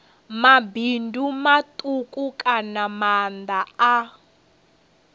mabindu matuku kana maanda a